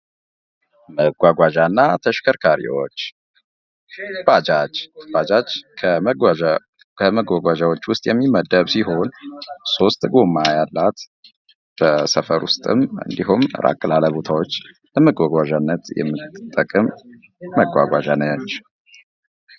መጓጓዣ እና ተሽከርካሪዎች ባጃጅ ባጃጅ ከመጓጓዣዎች ዉስጥ የሚመደብ ሲሆን፤ ሶስት ጎማ ያላት በሰፈር ዉስጥም እንዲሁም ራቅ ላለ ቦታዎች ለመጓጓዣነት የምትጠቅም መጓጓዣ ነች።